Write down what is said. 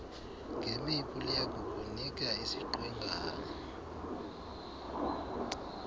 ngemipu liyakukunika isiqwengana